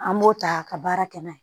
An b'o ta ka baara kɛ n'a ye